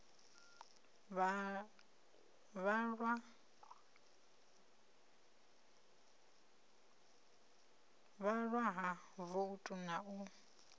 vhalwa ha voutu na u